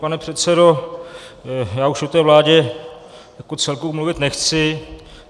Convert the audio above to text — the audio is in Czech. Pane předsedo, já už o té vládě jako celku mluvit nechci.